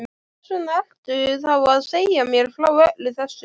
Hversvegna ertu þá að segja mér frá öllu þessu?